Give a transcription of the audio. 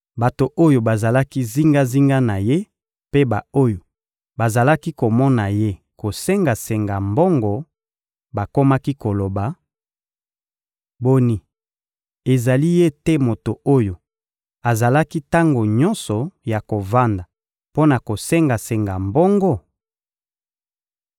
Bato oyo bazalaki zingazinga na ye mpe ba-oyo bazalaki komona ye kosenga-senga mbongo bakomaki koloba: — Boni, ezali ye te moto oyo azalaki tango nyonso ya kovanda mpo na kosenga-senga mbongo?